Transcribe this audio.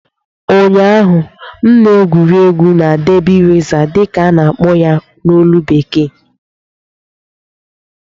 Ụnyaahụ, m na-egwuri egwu na "derby racer" dị ka a na-akpọ ya na ólú bekee